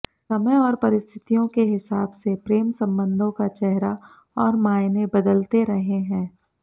समय और परिस्थितियों के हिसाब से प्रेम संबंधों का चेहरा और मायने बदलते रहे हैं